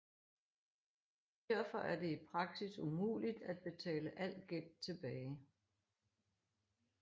Derfor er det i praksis umuligt at betale al gæld tilbage